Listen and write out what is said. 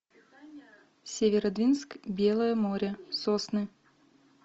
северодвинск белое море сосны